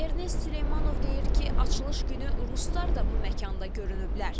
Ernest Süleymanov deyir ki, açılış günü ruslar da bu məkanda görünüblər.